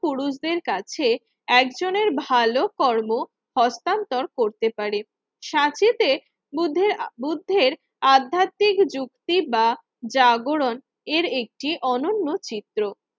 পুরুষদের কাছে একজনের ভালো কর্ম হস্তান্তর করতে পারে। সাথীতে বুদ্ধের বুদ্ধের আধ্যাত্মিক যুক্তি বা জাগরণ এর একটি অনন্য চিত্র